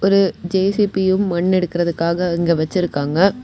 ஒரு ஜே_சி_பியும் மண் எடுக்கறதுக்காக அங்க வெச்சிருக்காங்க.